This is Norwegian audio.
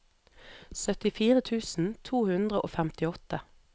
syttifire tusen to hundre og femtiåtte